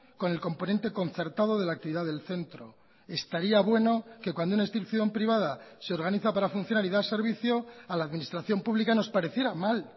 con el componente concertado de la actividad del centro estaría bueno que cuando una institución privada se organiza para funcionar y dar servicio a la administración pública nos pareciera mal